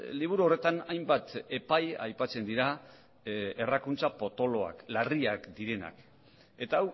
liburu horretan hainbat epai aipatzen dira errakuntza potoloak larriak direnak eta